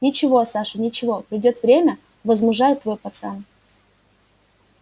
ничего саша ничего придёт время возмужает твой пацан